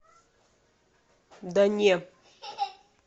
да не